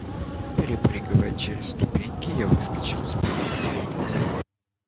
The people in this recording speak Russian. перепрыгивая через ступеньки я выскочил из подъезда